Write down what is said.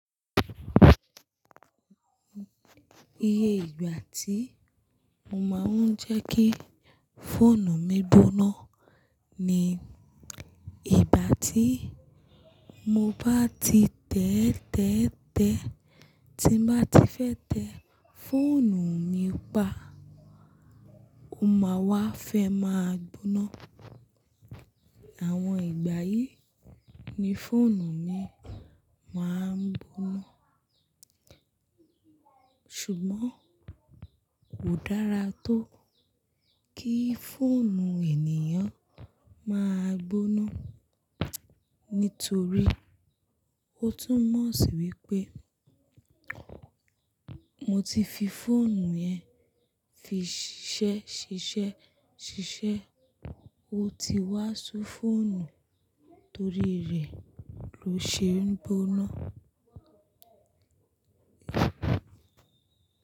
Iye ìgbà tí mo máa ń jẹ́ kí fóònù mi gbóná ni ìgbà tí mo bá ti tẹ́ tẹ́ tẹ́, tí mo bá ti fẹ́ tẹ fóònù mi pa, ó máa wá fẹ́ máa gbóná. Àwọn ìgbà yìí ni fóònù mi máa ń gbóná. Ṣùgbọ́n kò dára tó kí fóònù ènìyàn máa gbóná, nítorí ó túmọ̀ sí wípé mo ti fi fóònù yẹn fi ṣiṣẹ́ ṣiṣẹ́ ṣiṣẹ́, ó ti wá sú fóònù torí rẹ̀ ló ṣe ń gbóná.